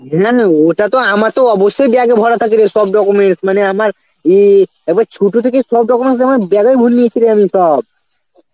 ওটা তো আমার তো অবশ্যই bag এ ভরা থাকে রে সব documents, মানে আমার ই আবার ছোট থেকে সব documents আমার bag এই ভরে লিয়েছিরে আমি সব